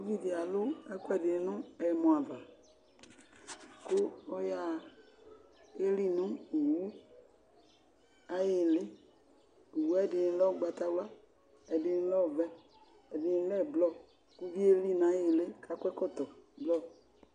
Ʊvidi alʊ ɛkuɛdɩ nu ɛmɔ ava, ku ɔyaa, leli nu owu aƴɩlɩ Owu ɛdɩnɩ lɛ ʊgbatawla, ɛdɩnɩ lɛ ɔvɛ ɛdini lɛ ʊblɔr kʊvɩ elɩ naƴɩlɩ kuakɔ ɛkɔtɔ blɔr